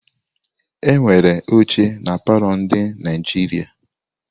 Enwere óchè na palọ ndị Naijiria.